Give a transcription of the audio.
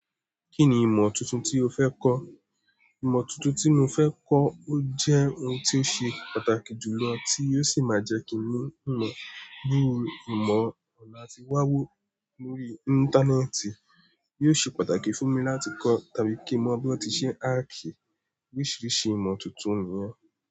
Kí ni ìmọ̀ tuntun tí o fẹ́ kọ́? Ìmọ̀ tuntun tí mo fẹ́ kọ́ ó jẹ́ ohun tí ó ṣe pàtàkì jùlọ tí yóò sì máa jẹ́ kí mi mọ̀ bii ìmọ̀ ọ̀nà tí wá wò lórí Íńtánẹ́ẹ̀tì. Yóò ṣe pàtàkì fún mi láti kọ́ tàbí kí mo mọ bí wọ́n ti ṣe ń aakí oríṣiríṣi ìmọ̀ tuntun yẹn.